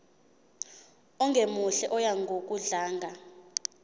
ongemuhle oya ngokudlanga